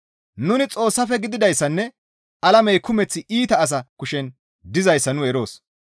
Nuni Xoossafe gididayssanne alamey kumeth iita asa kushen dizayssa nu eroos.